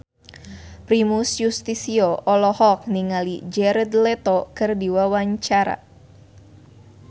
Primus Yustisio olohok ningali Jared Leto keur diwawancara